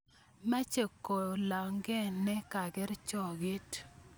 Mache kolalang' ne kargei choget